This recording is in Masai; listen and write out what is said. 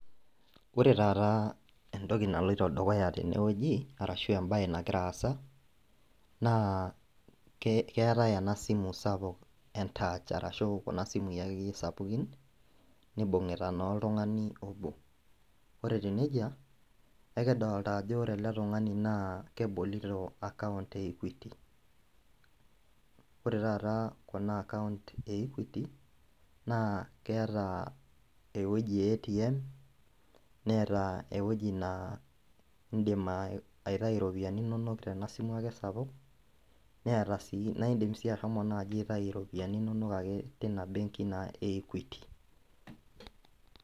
Ore taata entoki naloito dukuya tene ashu embae nagira aasa na keetae enasimu sapuk entach ashua akeyie kuna simui sapukin nibungita na oltungani obo ore etiu nejia ekidolta ano ore ele tungani na kebolto account e equity ore taata kuna account keetaewoi e atm neeta ewoi nindim aitau iropiyiani inonok tenewoi neeta si naindim si ashomo aitau ropiyani inonok tinabenki na eiquity.